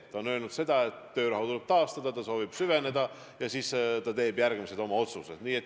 Ta on öelnud, et töörahu tuleb taastada, ta soovib süveneda, ja seejärel ta teeb oma otsused.